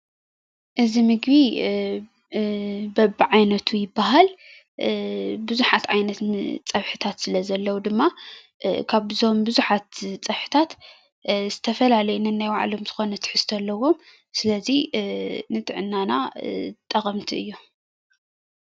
እዚ ምግቢ በቢዓይነቱ ይባሃል:: ብዙሓት ዓይነት ፀብሕታት ስለ ዘለው ድማ ካብዞም ብዙሓት ፀብሕታት ዝተፈላለዩ ነናይባዕሎም ዝኾነ ትሕዝቶ ኣለዎም ስለዚ ንጥዕናና ጠቀምቲ እዮም።